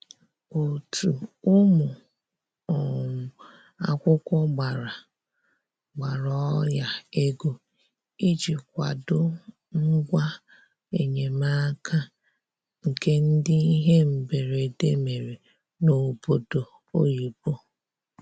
Otu ụmụ um akwụkwọ gbara gbara ọnya ego iji kwado ngwa enyemaka nke ndị ihe mberede mere n'obodo oyibo